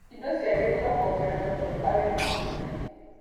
Indo ciagĩrĩirwo kuongererwo tondũ ageni nĩ aingĩ.